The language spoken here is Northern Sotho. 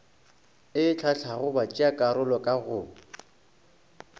e hlahlago batšeakarolo ka go